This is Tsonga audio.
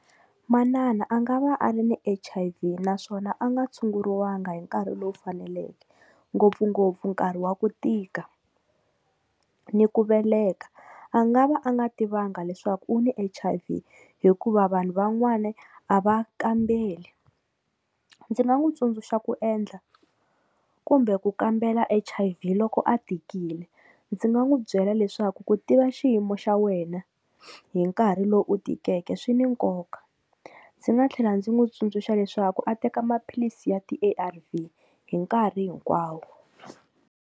Manana a nga va a ri ni H_I_V naswona a nga tshunguriwanga hi nkarhi lowu faneleke, ngopfungopfu nkarhi wa ku tika ni ku veleka a nga va a nga tivanga leswaku u ni H_I_V, hikuva vanhu van'wana a va kambeli. Ndzi nga n'wi tsundzuxa ku endla kumbe ku kambela H_I_V loko a tikile ndzi nga n'wu byela leswaku ku tiva xiyimo xa wena hi nkarhi lowu u tikeke swi ni nkoka ndzi nga tlhela ndzi n'wu tsundzuxa leswaku a teka maphilisi ya ti A_R_V hi nkarhi hinkwawo.